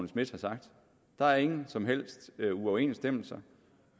schmidt har sagt der er ingen som helst uoverensstemmelser